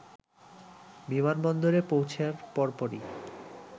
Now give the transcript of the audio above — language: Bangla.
বিমানবন্দরে পৌঁছার পরপরই